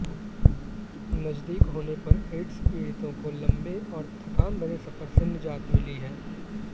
नजदीक होने पर एड्स पीडि़तों को लंबे और थकान भरे सफर से निजात मिली है